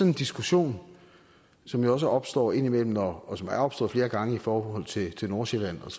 en diskussion som jo også opstår indimellem og og som er opstået flere gange i forhold til nordsjælland og